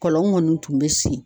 Kɔlɔn kɔni tun bɛ sen